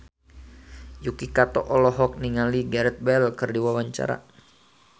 Yuki Kato olohok ningali Gareth Bale keur diwawancara